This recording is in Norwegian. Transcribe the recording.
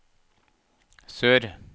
sør